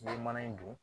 Yiri mana in dun